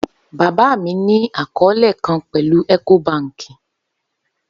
Baba mi ni akọọlẹ kan pẹlu Ecobank